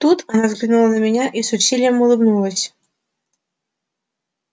тут она взглянула на меня и с усилием улыбнулась